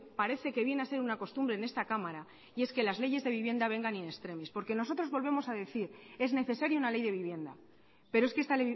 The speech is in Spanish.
parece que viene a ser una costumbre en esta cámara y es que las leyes de vivienda vengan in extremis porque nosotros volvemos a decir es necesario una ley de vivienda pero es que esta